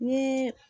Ni